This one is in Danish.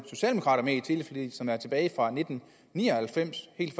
er i som er tilbage fra nitten ni og halvfems helt